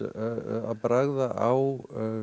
að bragða á